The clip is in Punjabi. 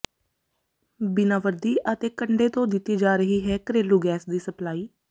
ਬਿਨਾਂ ਵਰਦੀ ਅਤੇ ਕੰਡੇ ਤੋਂ ਦਿੱਤੀ ਜਾ ਰਹੀ ਹੈ ਘਰੇਲੂ ਗੈਸ ਦੀ ਸਪਲਾਈ